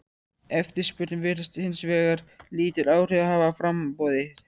Eftirspurn virðist hins vegar lítil áhrif hafa á framboðið.